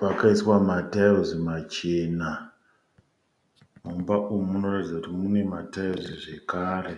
pakaiswa matairizi machena. Mumba umu munoratidza kuti mune matairizi zvakare.